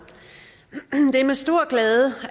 det er med stor glæde